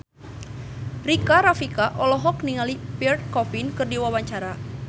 Rika Rafika olohok ningali Pierre Coffin keur diwawancara